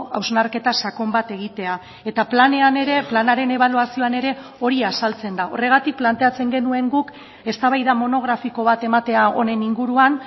hausnarketa sakon bat egitea eta planean ere planaren ebaluazioan ere hori azaltzen da horregatik planteatzen genuen guk eztabaida monografiko bat ematea honen inguruan